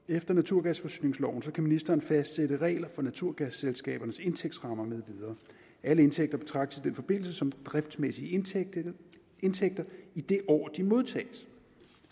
efter naturgasforsyningsloven kan ministeren fastsætte regler for naturgasselskabernes indtægtsrammer med videre alle indtægter betragtes i den forbindelse som driftsmæssige indtægter i det år de modtages